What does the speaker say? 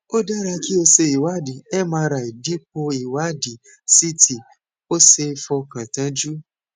ó dára kí o ṣe ìwádìí mri dípò ìwádìí ct ó ṣeé fọkàn tán jù